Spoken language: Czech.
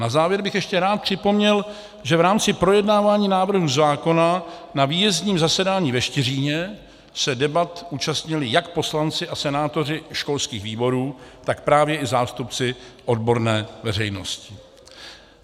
Na závěr bych ještě rád připomněl, že v rámci projednávání návrhu zákona na výjezdním zasedání ve Štiříně se debat účastnili jak poslanci a senátoři školských výborů, tak právě i zástupci odborné veřejnosti.